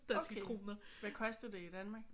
Okay. Hvad koster det i Danmark?